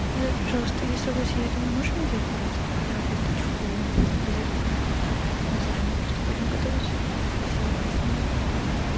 назар пожалуйста если у вас есть дома можешь мне взять пожалуйста веточку базилика мы заранее просто будем готовить сегодня и она просила если у меня будет